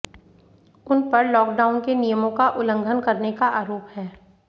उन पर लॉकडाउन के नियमों का उल्लंघन करने का आरोप है